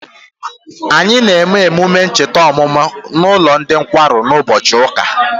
Anyị na eme emume ncheta ọmụmụ na ụlọ ndị nkwarụ na ụbọchị ụka